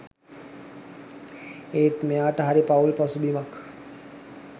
ඒත් මෙයාට හරි පවුල් පසුබිමක්